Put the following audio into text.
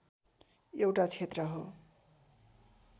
एउटा क्षेत्र हो